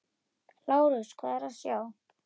LÁRUS: Hvað er að sjá?